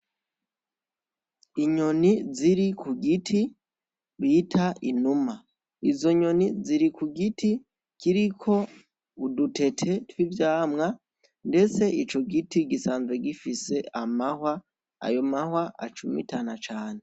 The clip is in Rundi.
Inyoni ziri kugiti bita inyuma. Izo nyoni ziri kugiti kiriko udutete tw'ivyamwa ndetse ico giti gisanzwe gifise amahwa ayo mahwa acumitana cane.